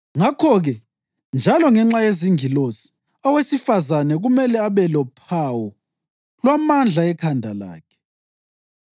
Ngakho-ke, njalo ngenxa yezingilosi, owesifazane kumele abe lophawu lwamandla ekhanda lakhe.